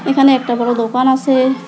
এখানে একটা বড় দোকান আছে।